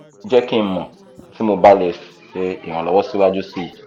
jẹ ki n mọ ti mo ba le ṣe iranlowo siwaju sii